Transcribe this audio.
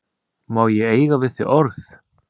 Má ég eiga við þig orð?